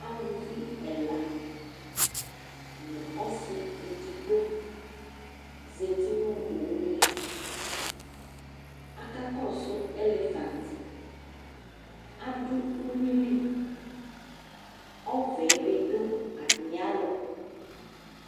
Aluvi ɛla nʋ ɔsɩ edigbo zati nʋ owu li Akakɔsʋ elefant Adʋ uyui li Ɔvɛ bɩ dʋ atamɩalɔ